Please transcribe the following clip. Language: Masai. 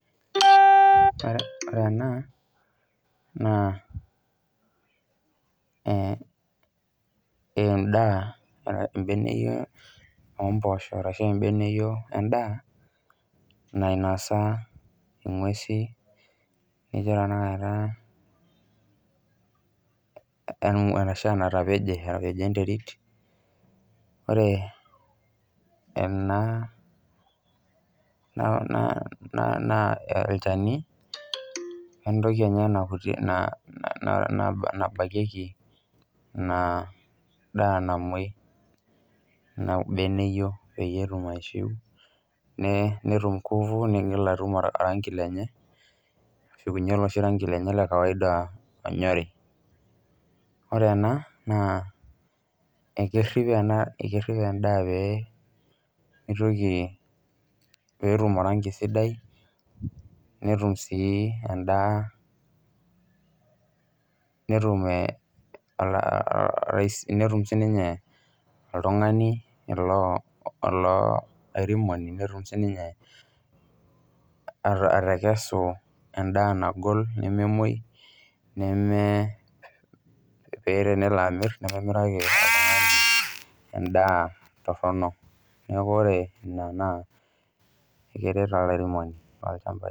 Ore ena, naa endaa ebeneyio ompoosho ashu ebeneyio endaa, nainosa ing'uesi, kejo tanakata arashu enatapeje natapejo enterit, ore ena naa olchani, entoki enye nabakieki ina daa namoi. Ina beneyio peyie etum aishiu netum ngufu nigil atum oranki lenye, neshukuni oloshi ranki lenye le kawaida onyori. Ore ena naa, ekerrip ena ekerrip endaa pemitoki petum oranki sidai, netum si endaa netum sininye olairemoni netum sininye atakesu endaa nagol nememoi, neme pe tenelo amir, nememiraki endaa torronok. Neeku ore ina naa keret olairemoni lolchamba.